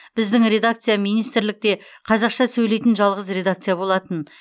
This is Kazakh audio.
біздің редакция министрлікте қазақша сөйлейтін жалғыз редакция болатын